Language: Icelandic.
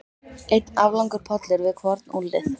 Einn aflangur pollur við hvorn úlnlið.